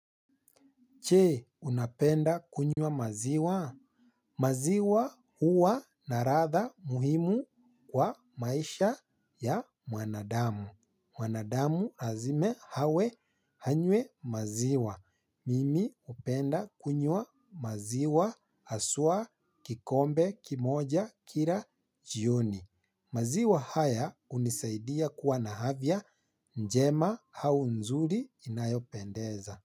Je, unapenda kunywa maziwa? Maziwa huwa na ladha muhimu kwa maisha ya mwanadamu. Mwanadamu lazima awe anywe maziwa. Mimi hupenda kunywa maziwa haswa kikombe kimoja kila jioni. Maziwa haya hunisaidia kuwa na afya njema au nzuri inayopendeza.